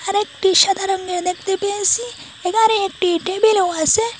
এখানে একটি সাদা রঙের দেখতে পেয়েসি এখানে একটি টেবিলও আসে।